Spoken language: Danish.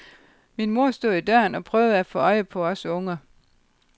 Min mor stod i døren og prøvede at få øje på os unger.